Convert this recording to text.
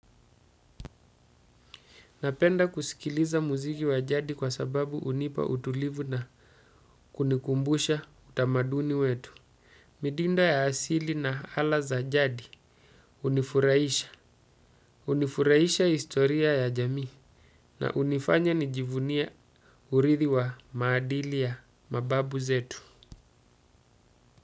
Napenda kusikiliza muziki wa jadi kwa sababu hunipa utulivu na kunikumbusha utamaduni wetu. Midinda ya asili na ala za jadi hunifurahisha. Hunifuraisha historia ya jamii na hunifanya nijivunie urithi wa maadili ya mababu zetu.